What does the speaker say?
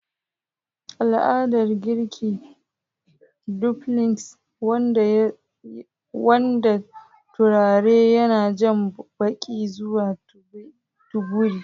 Al'adar girki dumplings, wanda turare yana jan baki zuwa teburin.